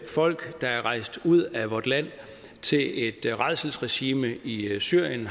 folk der er rejst ud af vort land til et rædselsregime i syrien